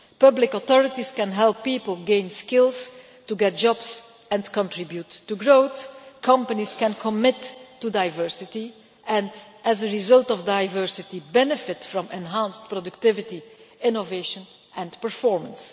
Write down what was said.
Public authorities can help people gain skills to get jobs and contribute to growth. Companies can commit to diversity and, as a result of diversity, benefit from enhanced productivity, innovation and performance.